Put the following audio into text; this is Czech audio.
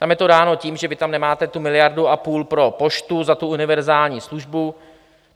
Tam je to dáno tím, že vy tam nemáte tu miliardu a půl pro poštu za tu univerzální službu.